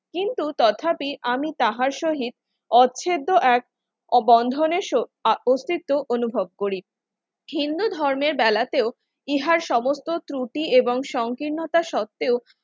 কিন্তু তথাপি আমি তাহার সহিত অচ্ছেদ্য এক ও বন্ধন এস আর অস্তিত্ব অনুভব করি হিন্দু ধর্মের বেড়াতেও ইহার সমস্ত ত্রুটি এবং সংকীর্ণতা সত্ত্বেও